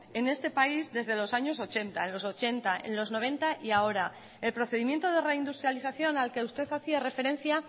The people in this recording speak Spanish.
en este país desde los años ochenta en los ochenta en los noventa y ahora el procedimiento de reindustrialización al que usted hacía referencia